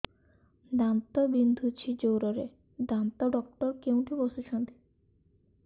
ଦାନ୍ତ ବିନ୍ଧୁଛି ଜୋରରେ ଦାନ୍ତ ଡକ୍ଟର କୋଉଠି ବସୁଛନ୍ତି